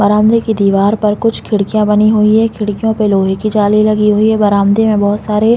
बरामदे की दिवार पर कुछ खिड़किया बनी हुई है खिड़कियो पर लोहे की जाली हुई है बरामदे में बहुत सारे --